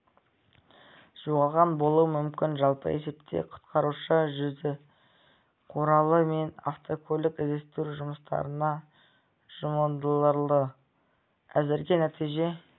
жоғалған болуы мүмкін жалпы есепте құтқарушы жүзу құралы мен автокөлік іздестіру жұмыстарына жұмылдырылды әзірге нәтиже